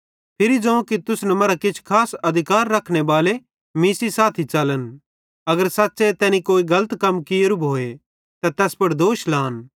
फिरी ज़ोवं कि तुसन मरां किछ खास अधिकार रखने बाले मीं सेइं साथी च़लन अगर सच़्च़े तैनी कोई गलत कम कियेरू भोए त तैस पुड़ दोष लान